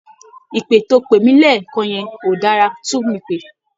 Ìpè tó o pè mí lẹ́ẹ̀kan yẹn ó dára, tún mi pè